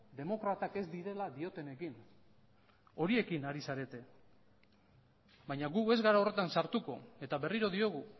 demokratak ez direla diotenekin ere horiekin ari zarete baina gu ez gara horretan sartuko eta berriro diogu